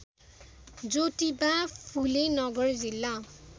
ज्योतिबा फुले नगर जिल्ला